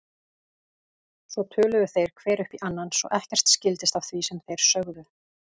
Svo töluðu þeir hver upp í annan svo ekkert skildist af því sem þeir sögðu.